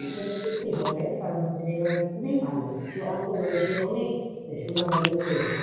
হবে কারণ হচ্ছে নেইমার হচ্ছে খুবই ভালো সে অল্প বয়সে অনেক সুনাম অর্জন করেছে.